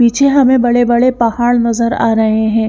पीछे हमे बड़े बड़े पहाड़ नज़र आ रहे है।